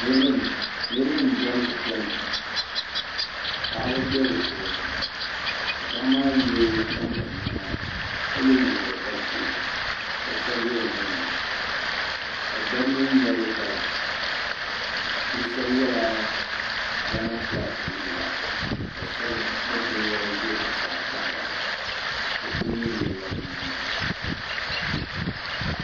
Niraba n diɛmdi Diɛma paɣaba bɛ bi puuni ka paɣaba maa yɛ kanboŋ niɛma ka yɛ nyingokoriti ka shɛli bɛ o nuuni ka dabba mii ŋmɛri dala bi shab yɛla gaana fulak liiga ka shab gbubi binyɛra ʒɛ zuɣusaa kpahara bi ku nyili nyilila bi nyina